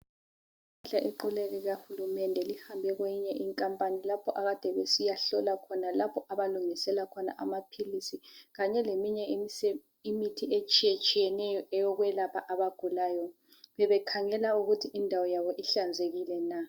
Iqule likahulumende lihambe kweyinye ikhampani lapho akade besiyahlola khona, lapho abalungiselela amaphilisi kanye leminye imithi etshiyetshiyeneyo eyokwelapha abagulayo. Bebekhangela ukuthi indawo yabo ihlanzekile na.